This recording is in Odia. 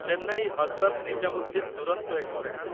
ଚେନ୍ନାଇ ହଜରତ ନିଜାମୁଦ୍ଦିନ ଦୁରନ୍ତୋ ଏକ୍ସପ୍ରେସ